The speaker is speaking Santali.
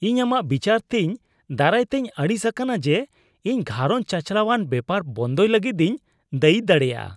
ᱤᱧ ᱟᱢᱟᱜ ᱵᱤᱪᱟᱹᱨᱛᱮᱧ ᱫᱟᱨᱟᱭᱛᱮᱧ ᱟᱹᱲᱤᱥ ᱟᱠᱟᱱᱟ ᱡᱮ ᱤᱧ ᱜᱷᱟᱸᱨᱚᱡ ᱪᱟᱪᱟᱞᱟᱣᱟᱱ ᱵᱮᱯᱟᱨ ᱵᱚᱱᱫᱚᱭ ᱞᱟᱹᱜᱤᱫᱤᱧ ᱫᱟᱹᱭᱤ ᱫᱟᱲᱮᱭᱟᱜᱼᱟ ᱾